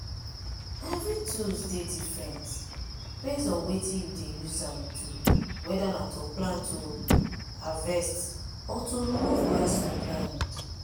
evry tools dey different base on wetin you dey use am do weda na to plant oh harvest or to remove grass from ground.